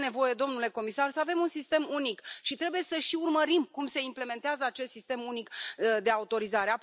Este nevoie, domnule comisar, să avem un sistem unic și trebuie să și urmărim cum se implementează acest sistem unic de autorizare.